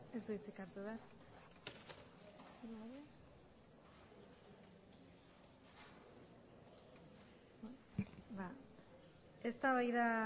ez du hitzik hartu behar eztabaida